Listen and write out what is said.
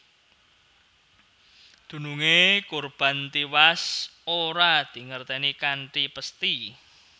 Dununge kurban tiwas ora dingertèni kanthi pesthi